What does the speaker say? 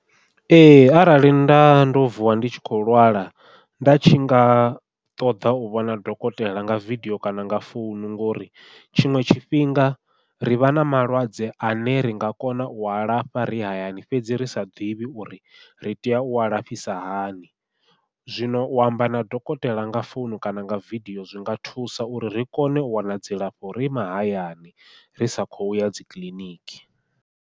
Ee arali nda ndo vuwa ndi tshi khou lwala nda tshi nga ṱoḓa u vhona dokotela nga vidio kana nga founu, ngori tshiṅwe tshifhinga ri vha na malwadze ane ri nga kona ua lafha ri hayani fhedzi ri sa ḓivhi uri ri tea ua lafhisa hani. Zwino u amba na dokotela nga founu kana nga vidio zwinga thusa uri ri kone u wana dzilafho ri mahayani ri sa khou ya dzi kiḽiniki.